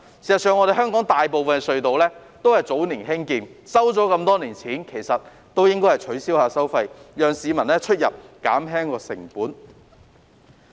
事實上，香港大部分隧道也是早年興建，收了這麼多年錢，應該取消收費，讓市民減輕出入的成本。